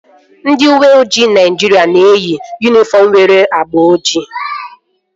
Ndị uweojii Naịjiria na-eyi yunifọm nwere agba ojii